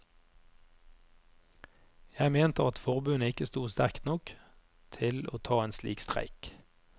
Jeg mente at forbundet ikke sto sterkt nok til å ta en slik streik.